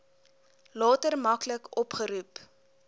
later maklik opgeroep